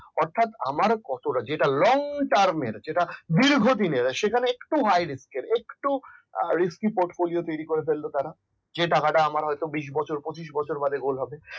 অর্থাৎ আমার কতটা যেটা long term এর দীর্ঘদিনের সেখানে একটু high risk কে একটু risky portfolio করে তৈরি করে ফেলল তারা যে টাকাটা আমার বিশ বছর পঁচিশ বছর ধরে hold হবে